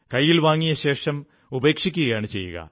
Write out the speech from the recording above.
കൈയ്യിൽ വാങ്ങിയ ശേഷം ഉപേക്ഷിക്കുകയാണു ചെയ്യുക